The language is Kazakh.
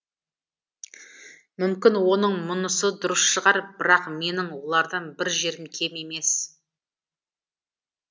мүмкін оның мұнысы дұрыс шығар бірақ менің олардан бір жерім кем емес